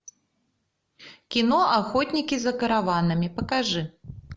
кино охотники за караванами покажи